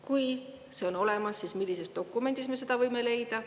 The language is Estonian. Kui see on olemas, siis millisest dokumendist me selle võime leida?